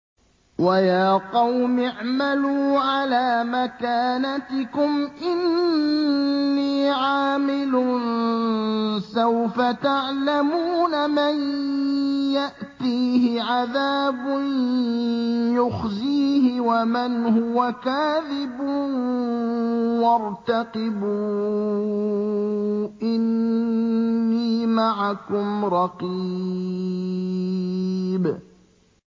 وَيَا قَوْمِ اعْمَلُوا عَلَىٰ مَكَانَتِكُمْ إِنِّي عَامِلٌ ۖ سَوْفَ تَعْلَمُونَ مَن يَأْتِيهِ عَذَابٌ يُخْزِيهِ وَمَنْ هُوَ كَاذِبٌ ۖ وَارْتَقِبُوا إِنِّي مَعَكُمْ رَقِيبٌ